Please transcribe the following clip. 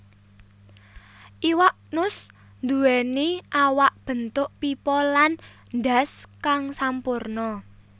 Iwak nus nduwèni awak bentuk pipa lan ndhas kang sampurna